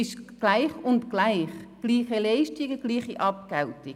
Es geht um gleiche Leistungen und gleiche Abgeltungen.